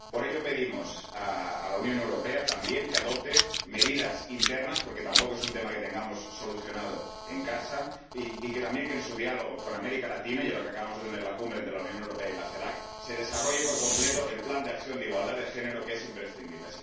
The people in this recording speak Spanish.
Por ello, pedimos a la Unión Europea también que adopte medidas internas —porque tampoco es un tema que tengamos solucionado en casa— y también que, en su diálogo con América Latina —y ahora que acabamos de tener la cumbre entre la Unión Europea y la CELAC—, se desarrolle por completo el Plan de acción de igualdad de género, que es imprescindible.